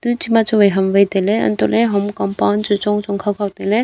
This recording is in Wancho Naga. chema chuwai kam wai tailey anto ley hom compound chu chong chon tailey.